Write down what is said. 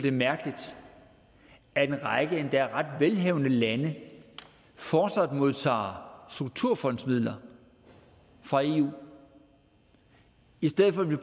er mærkeligt at en række endda ret velhavende lande fortsat modtager strukturfondsmidler fra eu i stedet for at vi